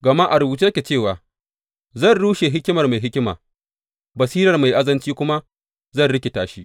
Gama a rubuce yake cewa, Zan rushe hikimar mai hikima, basirar mai azanci kuma zan rikita shi.